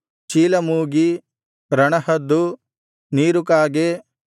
ಚೀಲಮೂಗಿ ರಣಹದ್ದು ನೀರುಕಾಗೆ